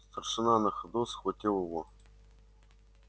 старшина на ходу схватил его